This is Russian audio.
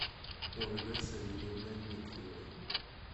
ольгой савельевной дмитриевой